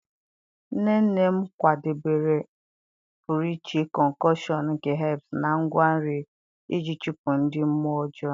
Nne nne m kwadebere a pụrụ iche concoction nke herbs na ngwa nri iji chụpụ ndị mmụọ ọjọọ.